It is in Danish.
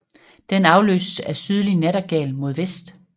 Den afløses af sydlig nattergal mod vest